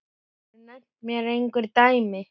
Geturðu nefnt mér einhver dæmi?